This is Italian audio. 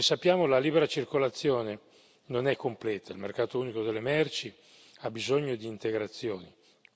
Come sappiamo, la libera circolazione non è completa, il mercato unico delle merci ha bisogno di integrazioni.